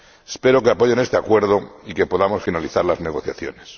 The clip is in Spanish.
Espero que apoyen este acuerdo y que podamos finalizar las negociaciones.